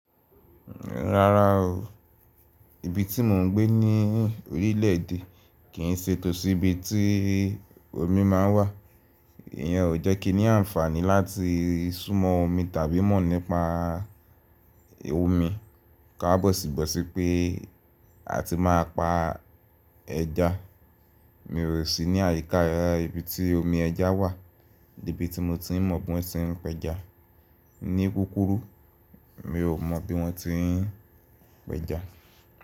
Rárá o, ibi tí mò ń gbé ní orílẹ̀ èdè kì í ṣe tòsí ibi tí omi máa ń wà. Iyen o jẹ́ kí ni àǹfààní láti sùnmọ́ omi tàbí mọ̀ nípa omi. Ka bọ̀ sí bọ̀ sí pé a ti máa pa ẹja. Mi o sì ní àyíká ibi tí omi ẹja wà níbi tí mo ti mọ̀ bó ń ṣe pẹja. Ni kúkúrú mi o mọ̀ bí wọ́n ti ń pẹja.